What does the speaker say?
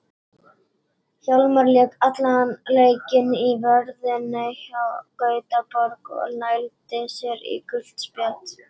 Hjálmar lék allan leikinn í vörninni hjá Gautaborg og nældi sér í gult spjald.